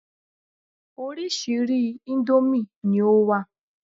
Orírìsíírìí íńdómì ni ó wà.